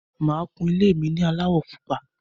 Mo máa kun ilé mi ní aláwọ̀ pupa.